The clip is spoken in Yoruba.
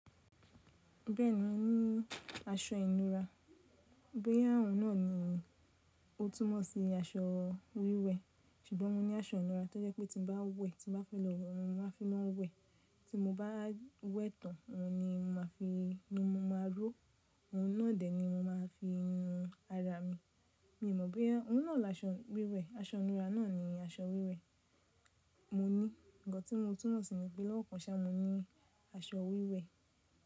Bẹ́ẹ̀ni mo ní aṣọ ìnura. Bóyá òun náà ni ó túnmọ̀ sí aṣọ wíwẹ̀, ṣùgbọ́n mo ní aṣọ ìnura tó jẹ́ pé tí mo bá wẹ̀, tí mo bá fẹ́ lọ, mo máa fi wọ́n wẹ̀. Tí mo bá wẹ̀ tán, òun ni mo máa fi, ni mo máa ró, òun náà dè ẹ́ ni mo máa fi nù ara mi. Mi ò mọ̀ bóyá òun náà la aṣọ wíwẹ̀, aṣọ ìnura náà ni aṣọ wíwẹ̀. Mo ní ǹkan tí mo túnmọ̀ sí ni pé lọ́kàn sá mo ní aṣọ wíwẹ̀.